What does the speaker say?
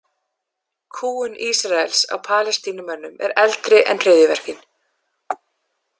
Kúgun Ísraels á Palestínumönnum er eldri en hryðjuverkin.